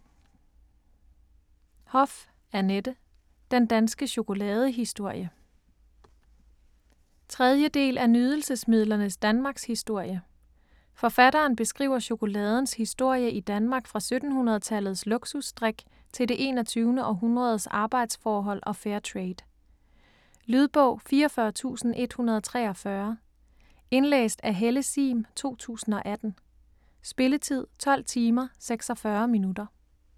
Hoff, Annette: Den danske chokoladehistorie 3. del af Nydelsesmidlernes Danmarkshistorie. Forfatteren beskriver chokoladens historie i Danmark fra 1700-tallets luksus drik til det 21. århundredes arbejdsforhold og Fairtrade. Lydbog 44843 Indlæst af Helle Sihm, 2018. Spilletid: 12 timer, 46 minutter.